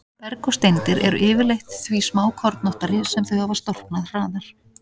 Berg og steindir eru yfirleitt því smákornóttari sem þau hafa storknað hraðar.